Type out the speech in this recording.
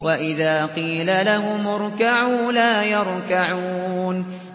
وَإِذَا قِيلَ لَهُمُ ارْكَعُوا لَا يَرْكَعُونَ